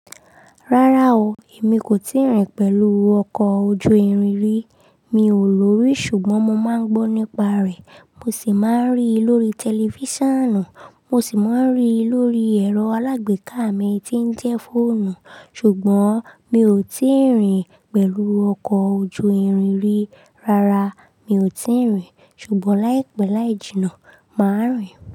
Rárá o, èmi kò tíì rìn pẹ̀lú ọkọ̀ ojú-irin rí. Mi ò lórí ṣùgbọ́n mo máa ń gbọ́ nípa rẹ̀. Mo sì máa ń rí i lórí tẹlifísàn, mo sì máa ń rí i lórí ẹ̀rọ alágbèéká mi tí ń jẹ́ fóònù. Ṣùgbọ́n mi ò tíì rìn pẹ̀lú ọkọ̀ ojú-irin rí. Rárá, mi ò tíì rìn. Ṣùgbọ́n láìpẹ́ láì jìnnà, màá rìn.